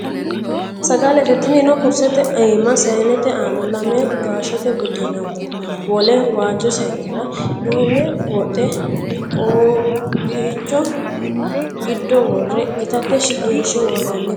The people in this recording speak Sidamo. saggalete. Tinino kurrisete imaa saayinnette aana lame gaashette buddena wole waajjo saayinera duumme wodhe qoopichcho giddo worre itatte shiqinishe worronnitte